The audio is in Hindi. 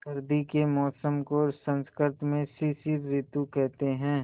सर्दी के मौसम को संस्कृत में शिशिर ॠतु कहते हैं